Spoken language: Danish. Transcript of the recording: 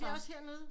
Var det også her nede